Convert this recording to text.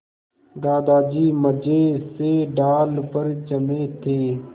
दादाजी मज़े से डाल पर जमे थे